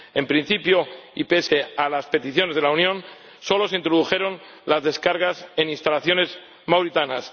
En principio, y pese a las peticiones de la Unión, solo se introdujeron las descargas en instalaciones mauritanas.